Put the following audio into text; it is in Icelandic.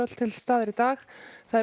til staðar í dag eru